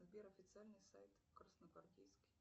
сбер официальный сайт красногвардейский